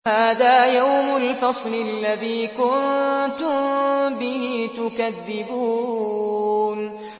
هَٰذَا يَوْمُ الْفَصْلِ الَّذِي كُنتُم بِهِ تُكَذِّبُونَ